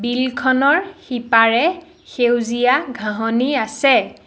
বিলখনৰ সিপাৰে সেউজীয়া ঘাঁহনি আছে।